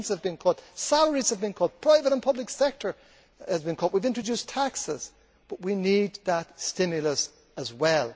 Pensions have been cut, salaries have been cut, and the private and public sector have been cut. We have introduced taxes. But we need a stimulus as well.